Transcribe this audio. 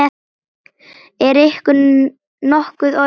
Er ykkur nokkuð orðið kalt?